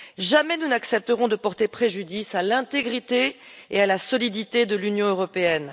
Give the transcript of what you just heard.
Jamais nous n'accepterons de porter préjudice à l'intégrité et à la solidité de l'Union européenne.